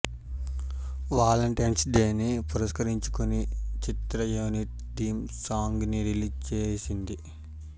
Valentine's డేని పురస్కరించుకుని చిత్ర యూనిట్ థీమ్ సాంగ్ ని రిలీజ్ చేసింది